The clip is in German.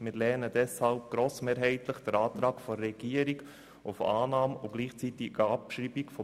Wir lehnen deshalb grossmehrheitlich den Antrag der Regierung auf Annahme und gleichzeitige Abschreibung ab.